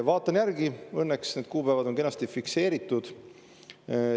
Vaatan järgi, õnneks need kuupäevad on kenasti fikseeritud.